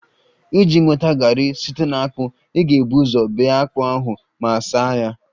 Iji nweta garri site na akpu, ị ga-ebu ụzọ bee akpu ahụ ma saa ya